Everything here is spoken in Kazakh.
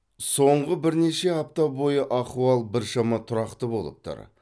соңғы бірнеше апта бойы ахуал біршама тұрақты болып тұр